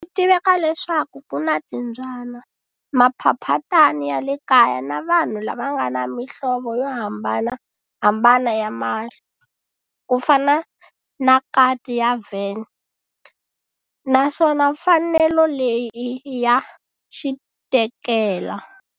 Switiveka leswaku kuna timbyana, maphaphatani yale kaya na vanhu lavangana mihlovo yohambanahambana ya mahlo, kufana na kati ya Van, naswona mfanelo leyi i ya xitekela.